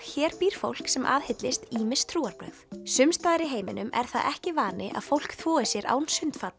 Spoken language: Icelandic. hér býr fólk sem aðhyllist ýmis trúarbrögð sums staðar í heiminum er það svo ekki vani að fólk þvoi sér án